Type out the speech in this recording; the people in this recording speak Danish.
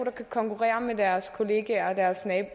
konkurrere med deres kollegaer